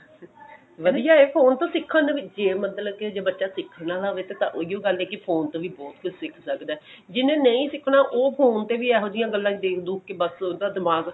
ਵਧੀਆ phone ਤੋਂ ਸਿੱਖਣ ਨੂੰ ਵੀ ਜੇ ਮਤਲਬ ਕੇ ਜੇ ਬੱਚਾ ਸਿੱਖਣ ਵਾਲਾ ਹੋਵੇ ਤਾਂ ਤਾਂ ਉਹੀ ਓ ਗੱਲ ਹੈ ਕਿ phone ਤੋਂ ਵੀ ਬਹੁਤ ਕੁੱਛ ਸਿੱਖ ਸਕਦਾ ਜਿੰਨੇ ਨਹੀਂ ਸਿਖਣਾ ਉਹ phone ਤੋਂ ਵੀ ਇਹੋ ਜਿਹੀ ਗੱਲਾ ਦੇਖ ਦੁਖ ਕੇ ਬਸ ਉਹਦਾ ਦਿਮਾਗ